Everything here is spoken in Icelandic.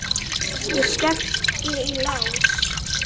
Ég skellti í lás.